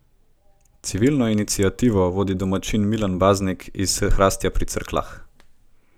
Civilno iniciativo vodi domačin Milan Baznik iz Hrastja pri Cerkljah.